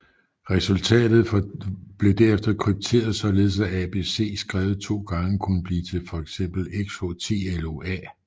Resultatet blev derefter krypteret således at ABC skrevet to gange kunne blive for eksempel XHTLOA